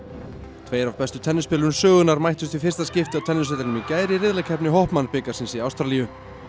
tveir af bestu sögunnar mættust í fyrsta skipti á tennisvellinum í gær í riðlakeppni bikarsins í Ástralíu